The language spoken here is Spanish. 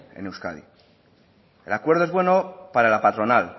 en euskadi el acuerdo es bueno para la patronal